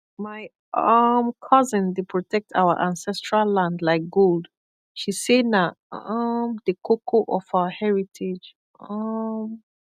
my um cousin dey protect our ancestral land like gold she say na um the koko of our heritage um